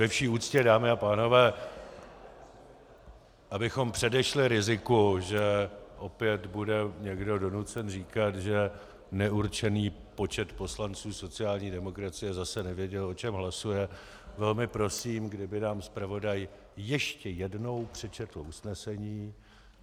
Ve vši úctě, dámy a pánové, abychom předešli riziku, že opět bude někdo donucen říkat, že neurčený počet poslanců sociální demokracie zase nevěděl, o čem hlasuje, velmi prosím, kdyby nám zpravodaj ještě jednou přečetl usnesení.